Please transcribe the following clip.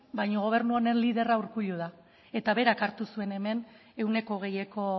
baina gobernu honen liderra urkullu da eta berak hartu zuen hemen ehuneko hogeieko